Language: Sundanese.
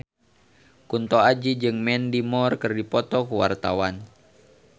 Kunto Aji jeung Mandy Moore keur dipoto ku wartawan